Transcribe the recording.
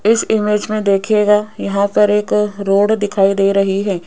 इस इमेज में देखिएगा यहां पर एक रोड दिखाई दे रही है।